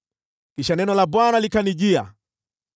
Kisha neno la Bwana likanijia: